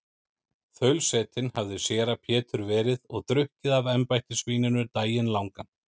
Þaulsetinn hafði séra Pétur verið og drukkið af embættisvíninu daginn langan.